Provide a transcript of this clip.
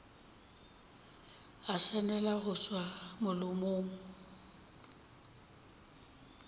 a swanela go tšwa molomong